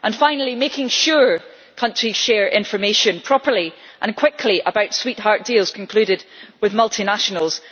and finally, making sure countries share information properly and quickly about sweetheart deals concluded with multinationals.